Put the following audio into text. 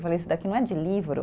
Eu falei, isso daqui não é de livro.